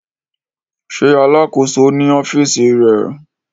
Ṣe Alakoso ni ọfiisi rẹ?